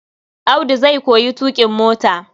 Audu zai koyi tuƙin mota.